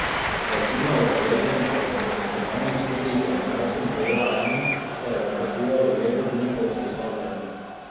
Večina udeležencev dosedanjih štirih generacij Modela M se je zaposlila v letu dni po usposabljanju.